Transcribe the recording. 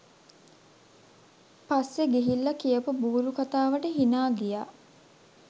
පස්සෙ ගිහිල්ල කියපු බූරු කතාවට හිනා ගියා.